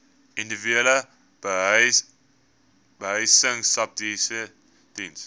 individuele behuisingsubsidies diens